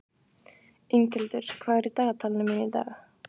Inghildur, hvað er í dagatalinu mínu í dag?